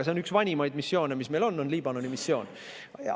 See Liibanoni missioon on vist üks vanimaid missioone, mis meil on.